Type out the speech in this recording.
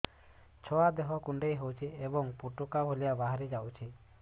ଛୁଆ ଦେହ କୁଣ୍ଡେଇ ହଉଛି ଏବଂ ଫୁଟୁକା ଭଳି ବାହାରିଯାଉଛି